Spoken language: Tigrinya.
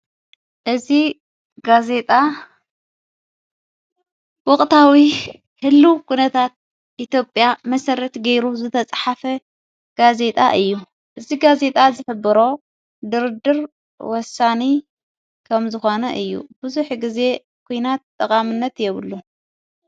እዝ ጋዜጣ ወቕታዊ ህሉ ጕነታት ኢቲጴያ መሠረት ገይሩ ዘተጽሓፈ ጋዜጣ እዩ እዝ ጋዜጣ ዝፍብሮ ድርድር ወሳኒ ከም ዝኾነ እዩ ብዙኅ ጊዜ ኲናት ጠቓምነት የብሉን።